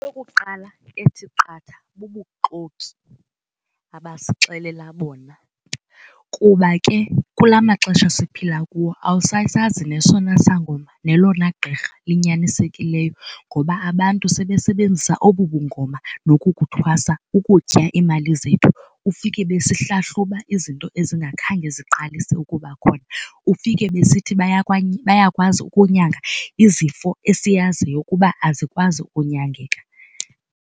Eyokuqala ethi qatha bubuxoki abasixelela bona kuba ke kula maxesha siphila kuwo awusasazi nesona sangoma nelona gqirha linyanisekileyo ngoba abantu sebesebenzisa obu bungoma noku kuthwasa ukutya iimali zethu, ufike besihlahluba izinto ezingakhange ziqalise ukuba khona. Ufike besithi bayakwazi ukunyanga izifo esiyaziyo ukuba azikwazi kunyangeka.